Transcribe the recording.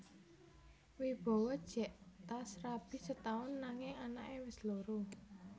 Wibowo jek tas rabi setaun nanging anak e wes loro